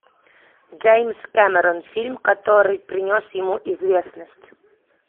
джеймс кэмерон фильм который принес ему известность